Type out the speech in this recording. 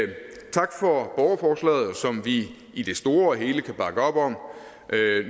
tak for borgerforslaget som vi i det store hele kan bakke op om